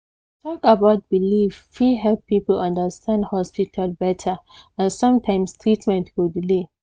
talk about belief fit help people understand hospital better and sometimes treatment go delay